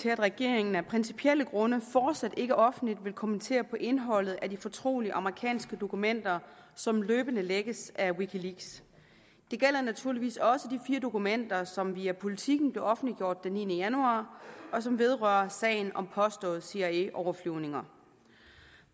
til at regeringen af principielle grunde fortsat ikke offentligt vil kommentere indholdet af de fortrolige amerikanske dokumenter som løbende lækkes af wikileaks det gælder naturligvis også de fire dokumenter som via politiken blev offentliggjort den niende januar og som vedrører sagen om påståede cia overflyvninger